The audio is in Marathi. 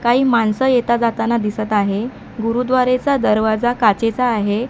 काही माणसं येता जाताना दिसत आहे गुरुद्वारेचा दरवाजा काचेचा आहे.